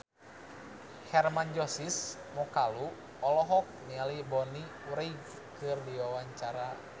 Hermann Josis Mokalu olohok ningali Bonnie Wright keur diwawancara